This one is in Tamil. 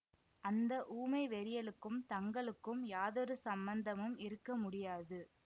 அந்த ஊமை வெறியளுக்கும் தங்களுக்கும் யாதொரு சம்பந்தமும் இருக்க முடியாது